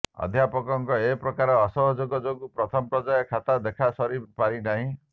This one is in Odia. ଅଧ୍ୟାପକମାନଙ୍କ ଏପ୍ରକାର ଅସହଯୋଗ ଯୋଗୁଁ ପ୍ରଥମ ପର୍ଯ୍ୟାୟ ଖାତା ଦେଖା ସରି ପାରିନାହିଁ